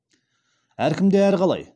әркімде әрқалай